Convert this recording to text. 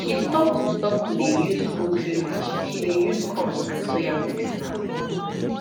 she stop to stop to dey use poultry mash she dey use corn and soya mix now